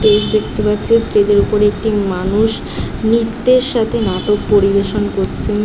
দেখতে পাচ্ছি একটি স্টেজ দেখতে পাচ্ছি স্টেজ -এর উপরে একটি মানুষ নৃত্যের সাথে নাটক পরিবেশন করছে ।